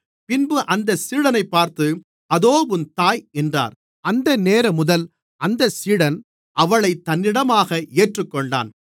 பின்பு அந்த சீடனைப் பார்த்து அதோ உன் தாய் என்றார் அந்தநேரமுதல் அந்தச் சீடன் அவளைத் தன்னிடமாக ஏற்றுக்கொண்டான்